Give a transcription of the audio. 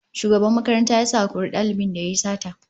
Shugaban makaranta ya sa a kori dalibin da yayi sata